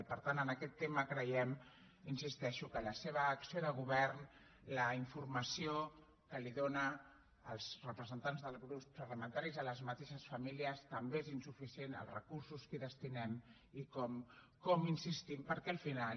i per tant en aquest tema creiem hi insisteixo que la seva acció de govern la informació que donen els representants dels grups parlamentaris a les mateixes famílies també és insuficient els recursos que hi destinem com insistim perquè al final